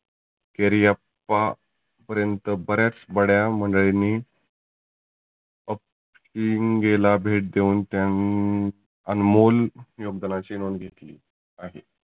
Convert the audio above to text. केरीअप्पा पर्यंत बऱ्याच मंडळींनी आपशिंगेला भेट देऊन त्यांन आनमोल योगदानाची नोंद घेतली आहे.